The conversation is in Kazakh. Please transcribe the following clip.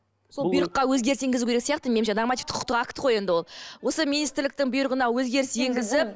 сол бұйрыққа өзгеріс енгізу керек сияқты меніңше нормативтік құқықтық акт қой енді ол осы министрліктің бұйрығына өзгеріс енгізіп